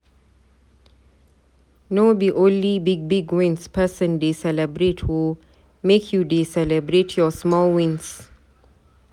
No be onle big big wins pesin dey celebrate o, make you dey celebrate your small wins.